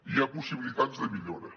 hi ha possibilitats de millora